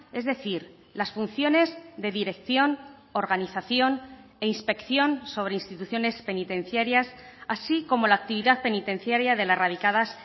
es decir las funciones de dirección organización e inspección sobre instituciones penitenciarias así como la actividad penitenciaria de las radicadas